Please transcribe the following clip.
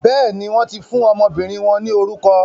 Béèni, wọn ti fún ọmọbìnrin wọn ni orukọ